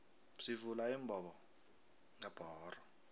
sivula imbobongebhoxo